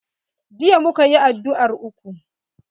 Jiya muka yi addu'ar uku.